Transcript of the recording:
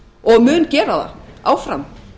og mun gera það áfram